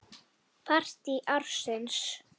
Partí ársins?